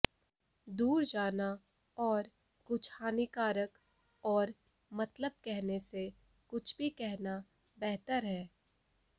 दूर जाना और कुछ हानिकारक और मतलब कहने से कुछ भी कहना बेहतर है